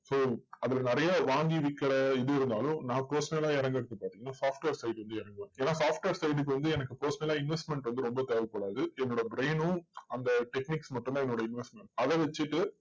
so அதுல நிறைய வாங்கி விக்கிற இது இருந்தாலும், நான் personal ஆ இறங்குறது பாத்தீங்கன்னா software side வந்து இறங்குவேன். ஏன்னா software side க்கு வந்து எனக்கு personal ஆ investment வந்து ரொம்ப தேவைப்படாது. என்னோட brain னும் அந்த techiniques மட்டும் தான் என்னோட investment அதை வச்சுசுட்டு,